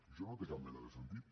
això no té cap mena de sentit